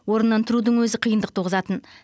орнынан тұрудың өзі қиындық туғызатын